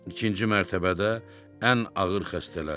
İkinci mərtəbədə ən ağır xəstələr.